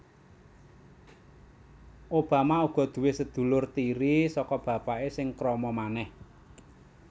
Obama uga duwé sedulur tiri saka bapaké sing krama manèh